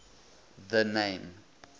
the name